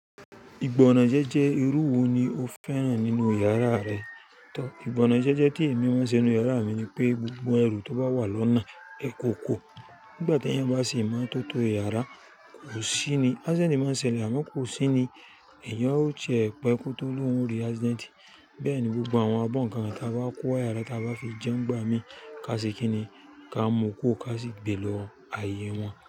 Ìgbọnàn jẹ́jẹ́ irú wo ni o fẹ́ràn nínú yàrá rẹ? Tọ̀, ìgbọnàn jẹ́jẹ́ tí èmi máa ń ṣe nínú yàrá mi ni pé gbogbo ẹrù tó bá wà lọ́nà, ẹ kò kuro. Nígbà tí ẹ̀yàn bá se imototo iyara, kò sí ni. Accident máa ń ṣẹlẹ̀, àmọ́ kò sí ni. Ẹ̀yàn ó ti ẹ̀pẹ̀ kó tó lóhùn orí accident. Bẹ́ẹ̀ ni gbogbo àwọn abọ́n kan kan tí a bá kó wá yàrá tí a bá fi jẹun gbà mí, ká sì kí ni. Ká mú kuro ká sì gbe lọ ayé wọn.